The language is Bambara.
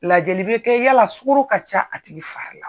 Lajɛli bɛ kɛ yala sukaro ka ca a tigi fari la.